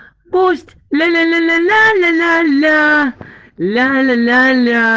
пусть ля-ля-ля-ля-ля